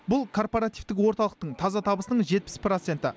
бұл корпоративтік орталықтың таза табысының жетпіс проценті